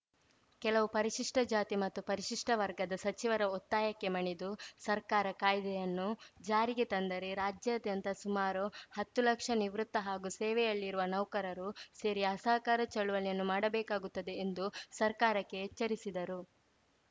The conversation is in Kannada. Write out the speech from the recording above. ಕೆಲವು ಪರಿಶಿಷ್ಟಜಾತಿ ಮತ್ತು ಪರಿಶಿಷ್ಟವರ್ಗದ ಸಚಿವರ ಒತ್ತಾಯಕ್ಕೆ ಮಣಿದು ಸರ್ಕಾರ ಕಾಯ್ದೆಯನ್ನು ಜಾರಿಗೆ ತಂದರೆ ರಾಜ್ಯಾದ್ಯಂತ ಸುಮಾರು ಹತ್ತು ಲಕ್ಷ ನಿವೃತ್ತ ಹಾಗೂ ಸೇವೆಯಲ್ಲಿರುವ ನೌಕರರು ಸೇರಿ ಅಸಹಕಾರ ಚಳವಳಿಯನ್ನು ಮಾಡಬೇಕಾಗುತ್ತದೆ ಎಂದು ಸರ್ಕಾರಕ್ಕೆ ಎಚ್ಚರಿಸಿದರು